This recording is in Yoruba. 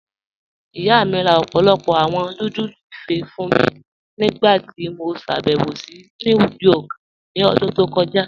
Iyá mi rá ọ̀pọ̀lọ́pọ̀ awọn núdúlù ìfé́ fún mí nígbàtí ó ṣàbẹ̀wò sí New York ní òdún tó kọja.